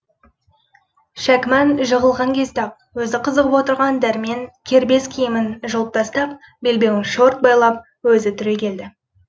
шәкіман жығылған кезде ақ өзі қызығып отырған дәрмен кербез киімін жұлып тастап белбеуін шорт байлап өзі түрегелді